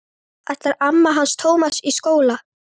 Ætlar amma hans Tóta í skóla?